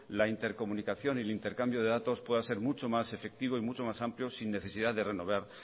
la intercomunicación y el intercambio de datos pueda ser mucho más efectivo y mucho más amplio sin necesidad de